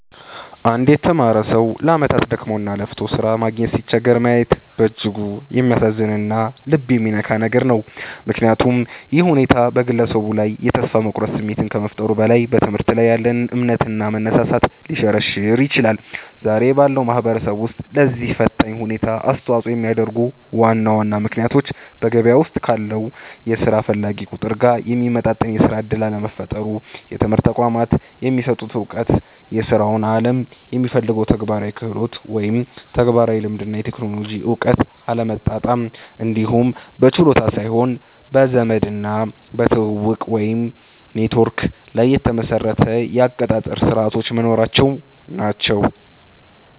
አንድ የተማረ ሰው ለዓመታት ደክሞና ለፍቶ ሥራ ማግኘት ሲቸገር ማየት በእጅጉ የሚያሳዝንና ልብ የሚነካ ነገር ነው፤ ምክንያቱም ይህ ሁኔታ በግለሰቡ ላይ የተስፋ መቁረጥ ስሜት ከመፍጠሩም በላይ፣ በትምህርት ላይ ያለንን እምነትና መነሳሳት ሊሸረሽር ይችላል። ዛሬ ባለው ማህበረሰብ ውስጥ ለዚህ ፈታኝ ሁኔታ አስተዋጽኦ የሚያደርጉት ዋና ዋና ምክንያቶች በገበያው ውስጥ ካለው የሥራ ፈላጊ ቁጥር ጋር የሚመጣጠን የሥራ ዕድል አለመፈጠሩ፣ የትምህርት ተቋማት የሚሰጡት ዕውቀትና የሥራው ዓለም የሚፈልገው ተግባራዊ ክህሎት (ተግባራዊ ልምድ እና የቴክኖሎጂ እውቀት) አለመጣጣም፣ እንዲሁም በችሎታ ሳይሆን በዘመድና በትውውቅ (ኔትወርክ) ላይ የተመሰረቱ የአቀጣጠር ሥርዓቶች መኖራቸው ናቸው።